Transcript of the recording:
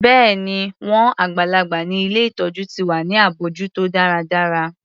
Bẹ́ẹ̀ni, wọn àgbàlagbà ni ilé ìtọjú ti wà ní abójútó dáradára.